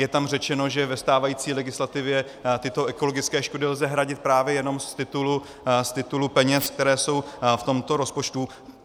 Je tam řečeno, že ve stávající legislativě tyto ekologické škody lze hradit právě jenom z titulu peněz, které jsou v tomto rozpočtu.